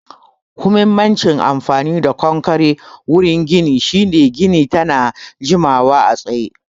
Huhimmacin amfani da konkare wurin gini shine gini tana jimawa a tsaye